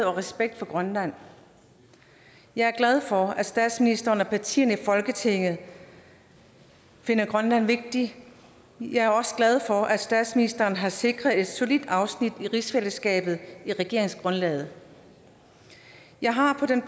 og respekt for grønland jeg er glad for at statsministeren og partierne i folketinget finder grønland vigtig jeg er også glad for at statsministeren har sikret et solidt afsnit om rigsfællesskabet i regeringsgrundlaget jeg har på den